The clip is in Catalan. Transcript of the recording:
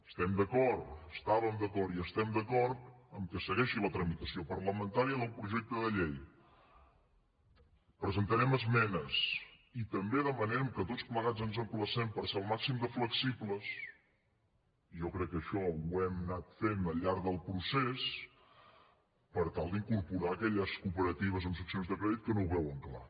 estem d’acord hi estàvem d’acord i hi estem d’acord que segueixi la tramitació parlamentària del projecte de llei presentarem esmenes i també demanem que tots plegats ens emplacem per ser el màxim de flexibles i jo crec que això ho hem anat fent al llarg del procés per tal d’incorporar aquelles cooperatives amb seccions de crèdit que no ho veuen clar